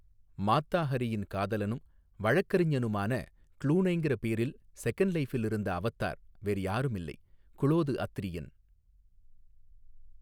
மாத்தா ஹரியின் காதலனும் வழக்கறிஞனுமான க்ளூனேங்கிற பேரில் செகெண்ட்லைஃபில் இருந்த அவத்தார் வேறு யாருமில்லை குளோது அத்ரியன்.